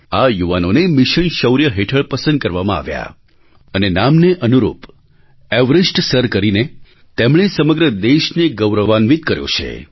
આ યુવાઓને મિશન શૌર્ય હેઠળ પસંદ કરવામાં આવ્યા અને નામને અનુરૂપ એવરેસ્ટ સર કરીને તેમણે સમગ્ર દેશને ગૌરવાન્વિત કર્યો છે